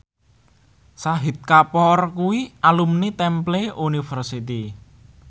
Shahid Kapoor kuwi alumni Temple University